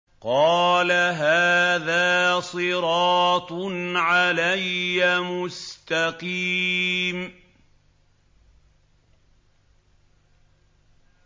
قَالَ هَٰذَا صِرَاطٌ عَلَيَّ مُسْتَقِيمٌ